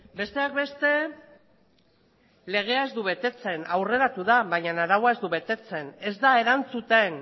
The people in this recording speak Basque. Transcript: besteak beste legea ez du betetzen aurreratu da baina araua ez da betetzen ez da erantzuten